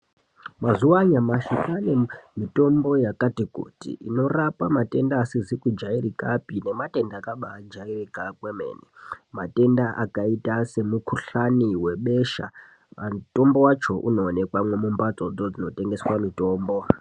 Mazuwa anyamashi kwaane mitombo yakati kuti inorapa matenda asizi kujairikapi nematenda akabaajairika kwemene. Matenda akaite semukhuhlani webesha mutombo wacho unowonekwa mumhatsodzo dzinotengeswe mitombo.